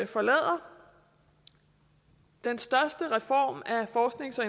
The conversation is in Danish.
forlader den største reform af forsknings og